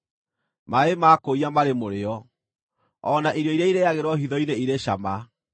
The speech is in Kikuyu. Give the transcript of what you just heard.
“Maaĩ ma kũiya marĩ mũrĩo; o na irio iria irĩĩagĩrwo hitho-inĩ irĩ cama!”